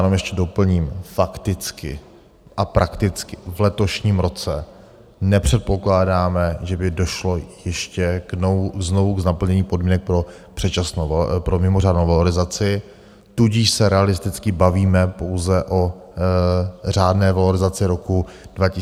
Jenom ještě doplním: fakticky a prakticky v letošním roce nepředpokládáme, že by došlo ještě znovu k naplnění podmínek pro mimořádnou valorizaci, tudíž se realisticky bavíme pouze o řádné valorizaci roku 2024 k 1. lednu.